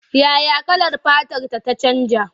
Ya ya kalar fatarta ta canja?